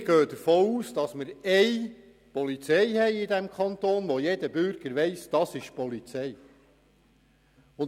Wir gehen davon aus, dass wir in diesem Kanton eine Polizei haben, die jeder Bürger als solche erkennt.